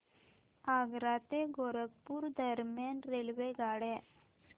आग्रा ते गोरखपुर दरम्यान रेल्वेगाड्या